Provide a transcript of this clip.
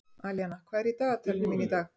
Alíana, hvað er í dagatalinu mínu í dag?